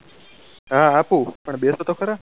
હા આપું પણ બેસો તો ખરા